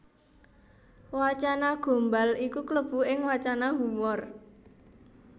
Wacana Gombal iku klebu ing wacana humor